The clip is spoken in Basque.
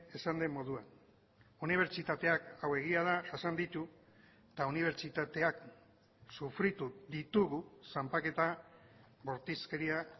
esan den moduan unibertsitateak hau egia da jasan ditu eta unibertsitateak sufritu ditugu zanpaketa bortizkeria